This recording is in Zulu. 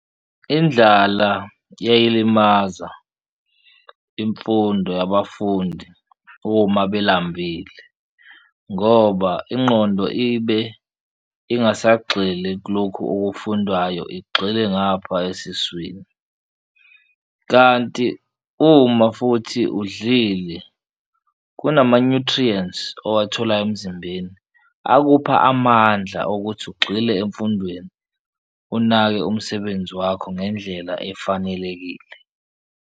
Indlala iyayilimaza imfundo yabafundi uma belambile ngoba ingqondo ibe ingasagxili kulokhu okufundwayo igxile ngapha esiswini, kanti uma futhi udlile kunama-nutrients owatholayo emzimbeni akupha amandla okuthi ugxile emfundweni, unake umsebenzi wakho ngendlela efanelekile.